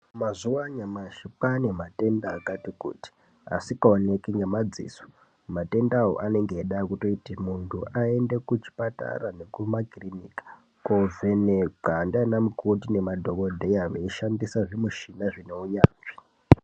Mazuva anyamashi kwaa nematend akati kuti, asikoneki ngemaziso. Matendewo anenga eida kutoti muntu ayende kuchipatara nekumakiriniki awa kovhenekwa ndivana mukoti nemadhokodheya meishandisa zvimushina zvinounyanzvi.